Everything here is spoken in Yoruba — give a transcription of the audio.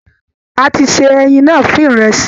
A ti se ẹyin náà fún ìrẹsì.